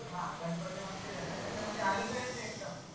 हां गनपती मंदिर ए न त्याच्या म्हनजे अलीकडेच ए एकदम